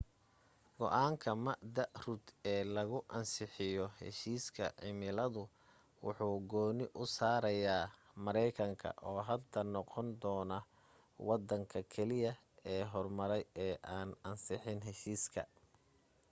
go'aanka md rudd ee lagu ansixinayo heshiiska cimiladu wuxu gooni u saaraya maraykanka oo hadda noqon doonta waddanka keliya ee horumaray ee aan ansixin heshiiska